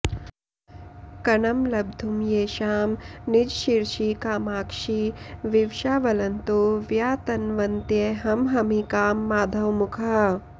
कणं लब्धुं येषां निजशिरसि कामाक्षि विवशा वलन्तो व्यातन्वन्त्यहमहमिकां माधवमुखाः